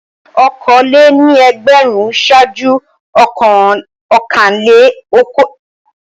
Okòólé-ní-ẹgbẹ̀rún ṣáájú ọ̀kanlé-okòólé-ní-ẹgbẹ̀rún.